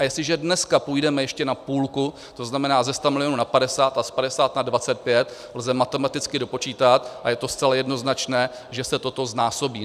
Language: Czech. A jestliže dneska půjdeme ještě na půlku, to znamená ze 100 milionů na 50 a z 50 na 25, lze matematicky dopočítat, a je to zcela jednoznačné, že se toto znásobí.